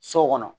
So kɔnɔ